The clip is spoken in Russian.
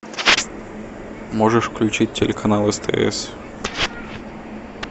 можешь включить телеканал стс